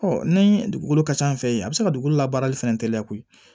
ni dugukolo ka ca an fɛ yen a bɛ se ka dugukolo labaarali fɛnɛ teliya koyi